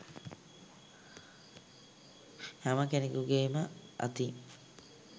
හැම කෙනෙකුගේම අතින්